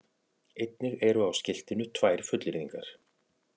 Einnig eru á skiltinu tvær fullyrðingar